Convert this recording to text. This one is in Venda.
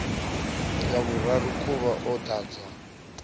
ya vhuraru khuvha o ḓala